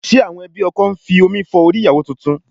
Ṣe àwọn ẹbí ọkọ ń fi omi fọ orí ìyàwó tuntun?